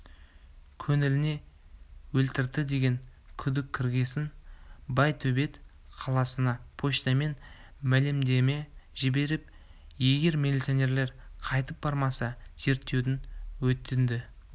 көңіліне өлтірді деген күдік кіргесін байтөбет қаласына почтамен мәлімдеме жіберіп егер милиционерлер қайтып бармаса зерттеуін өтінді